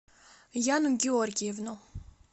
яну георгиевну